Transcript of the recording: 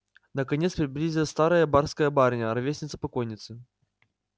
наконец приблизилась старая барская барыня ровесница покойницы